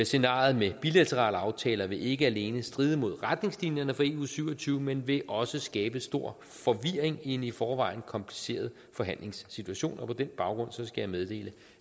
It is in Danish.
scenariet med bilaterale aftaler vil ikke alene stride mod retningslinjerne for eu syv og tyve men vil også skabe stor forvirring i en i forvejen kompliceret forhandlingssituation på den baggrund skal jeg meddele